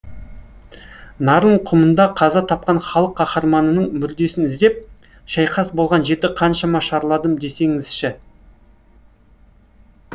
нарын құмында қаза тапқан халық қаһарманының мүрдесін іздеп шайқас болған жерді қаншама шарладым десеңізші